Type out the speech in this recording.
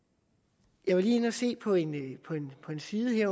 jeg var lige inde at se på en side